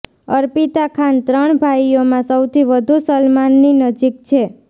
અર્પિતા ખાન ત્રણ ભાઇઓમાં સૌથી વધુ સલમાનની નજીક છે